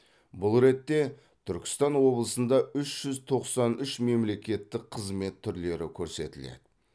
бұл ретте түркістан облысында үш жүз тоқсан үш мемлекеттік қызмет түрлері көрсетіледі